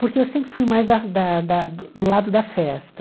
Porque eu sempre fui mais da da da do lado da festa.